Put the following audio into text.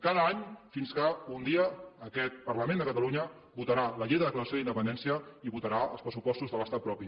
cada any fins que un dia aquest parlament de catalunya votarà la llei de declaració d’independència i votarà els pressupostos de l’estat propi